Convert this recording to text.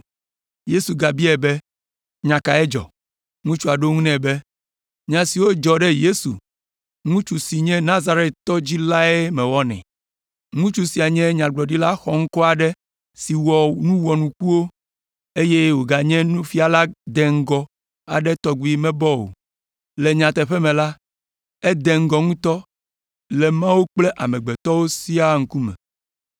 Yesu gabiae be, “Nya kae dzɔ?” Ŋutsua ɖo eŋu nɛ be, “Nya siwo dzɔ ɖe Yesu, ŋutsu si tso Nazaret dzi lae mewɔnɛ. Ŋutsu sia nye nyagblɔɖila xɔŋkɔ aɖe si wɔ nu wɔnukuwo eye wòganye nufiala deŋgɔ aɖe si tɔgbi mebɔ o. Le nyateƒe me la, ede ŋgɔ ŋutɔ le Mawu kple amegbetɔwo siaa ŋkume.